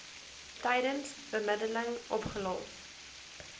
tydens bemiddeling opgelos